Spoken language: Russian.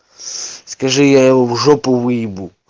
скажи я его в жопу выебу